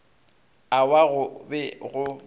a wa go be go